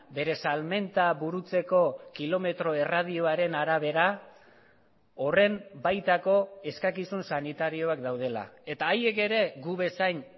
bere salmenta burutzeko kilometro erradioaren arabera horren baitako eskakizun sanitarioak daudela eta haiek ere gu bezain